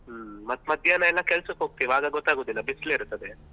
ಹ್ಮ್ ಮತ್ತೆ ಮಧ್ಯಾಹ್ನ ಎಲ್ಲ ಕೆಲ್ಸಕ್ಕೆ ಹೋಗ್ತೇವೆ ಆಗ ಗೊತ್ತಾಗುದಿಲ್ಲ ಬಿಸ್ಲಿರ್ತದೆ.